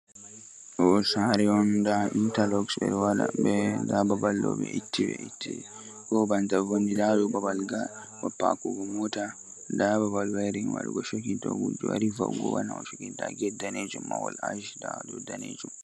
Ɗo saare on ndaa intalok ɓe waɗi, ba ɓe ɗo itti itti ba wonni, laaru babal paakugo moota. Ɗo bo waɗi babal cokin to gujjo wari wa'ugo haɗa mo ,ndaa get waɗi daneejum be ackolo.